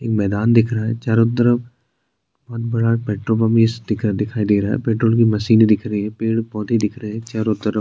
एक मैदान दिख रहा है चारो तरफ बड़ा पेट्रोल पंप दिख रहा है पेट्रोल पंप कि नीचे दिखाई दे रही है पेड़-पौधे दिख रहें हैंचारो तरफ --